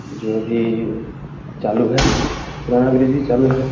जो भी चालू है पुराना ब्रिज भी चालू है।